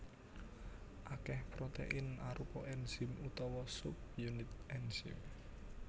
Akèh protein arupa enzim utawa subunit enzim